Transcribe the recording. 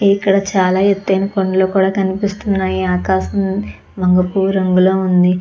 ఇక్కడ చాలా ఎత్తైన కొండలు కనిపిస్తున్నాయి. ఆకాశం వంగ పువ్వు రంగులో ఉంది.